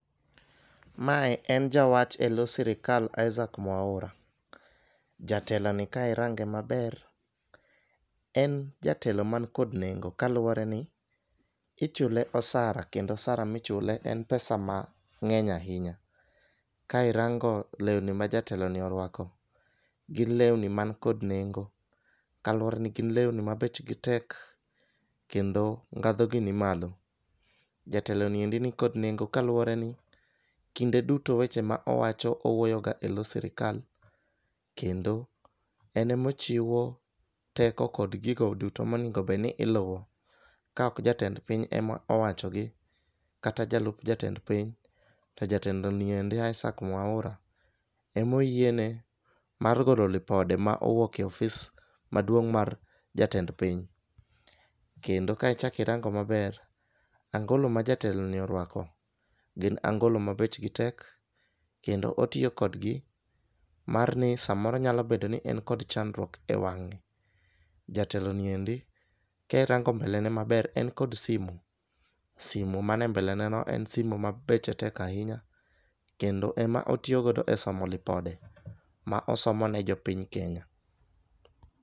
Mae en jawach eloo sirikal Isaa mwaura . Jatelo ni ka irange maber en jatelo man kod nengo kaluwore ni ichule osara kendo osara michule en pesa mang'eny ahinya. Ka irango lewni ma jatelo ni orwako, gin lewni man kod nengo kaluwore ni gin lewni ma bechgi tek kendo ndhadhu gi ni malo. Jatelo niendi nikod nengo kaluwore ni kinde duto weche ma owacho owuoyo ga eloo sirikal kendo en emochiwo teko kod gigo duto monego ned ni iluwo ka ok jatend piny ema owacho gi kata jalup jatend piny to jatelo ni endi isaac mwaura emoyiene mar golo lipode ma owuok e ofis maduong' mar jatend piny. Kendo ka ichaki rango maber angolo ma jatelo ni orwako gin angolo ma bechgi tek kendo otiyo kodgi mar ni samoro nyalo bedo ni en kod chandruok e wang'e. Jatelo ni endi ka irango mbele ne maber en kod simu simu mane e mbele ne no en simo ma beche tek ahinya kendo ema otiyo godo e somo lipode ma osomo ne jopiny kenya.